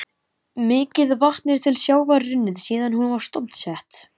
Mikið vatn er til sjávar runnið síðan hún var stofnsett.